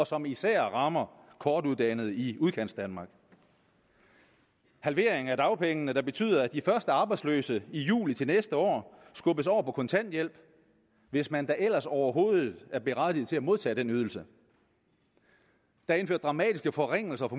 som især rammer kortuddannede i udkantsdanmark halveringen af dagpengene betyder at de første arbejdsløse i juli til næste år skubbes over på kontanthjælp hvis man da ellers overhovedet er berettiget til at modtage den ydelse der er indført dramatiske forringelser af